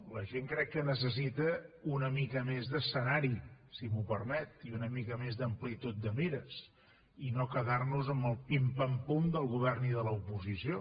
la gent crec que necessita una mica més d’escenari si m’ho permet i una mica més d’amplitud de mires i no quedar nos amb el pim pam pum del govern i de l’oposició